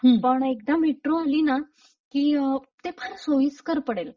पण एकदा metro metro आली ना की अ..ते फार सोयीस्कर पडेल.